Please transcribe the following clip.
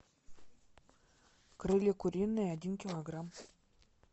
крылья куриные один килограмм